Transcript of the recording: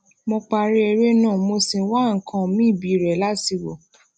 mo parí eré náà mo sì ń wá nǹkan míì biire lati wò